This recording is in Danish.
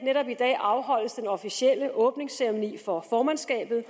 afholdes den officielle åbningsceremoni for formandskabet